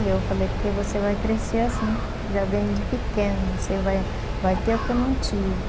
E eu falei, porque você vai crescer assim, já vem de pequeno, você vai vai ter o que eu não tive.